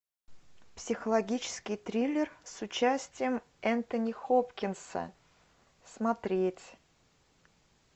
психологический триллер с участием энтони хопкинса смотреть